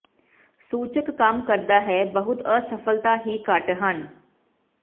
ਸੂਚਕ ਕੰਮ ਕਰਦਾ ਹੈ ਬਹੁਤ ਅਸਫਲਤਾ ਹੀ ਘੱਟ ਹਨ